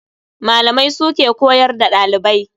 Malamai su ke koyar da dalibai.